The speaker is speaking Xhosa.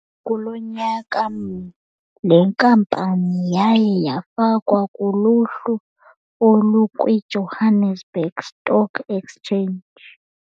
Kuloo nyaka mnye, le nkampani yaye yafakwa kuluhlu olukwiJohannesburg Stock Exchange.